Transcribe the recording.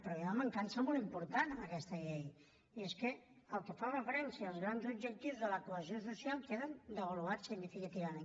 però hi ha una mancança molt important en aquesta llei i és el que fa referència als grans objectius de la cohesió social queden devaluats significativament